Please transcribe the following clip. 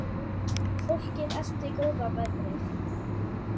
Fólkið elti góða veðrið.